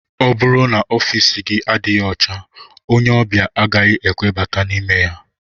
Ọ bụrụ n'ofici gị adịghị ọcha ónyé obia agaghị ekwe bata n'ime ya.